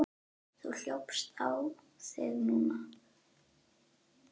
Þú hljópst á þig núna.